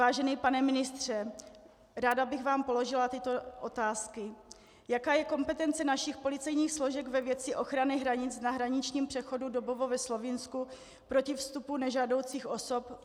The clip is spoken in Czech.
Vážený pane ministře, ráda bych vám položila tyto otázky: Jaká je kompetence našich policejních složek ve věci ochrany hranic na hraničním přechodu Dobovo ve Slovinsku proti vstupu nežádoucích osob?